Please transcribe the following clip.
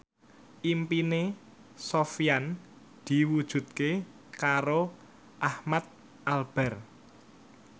impine Sofyan diwujudke karo Ahmad Albar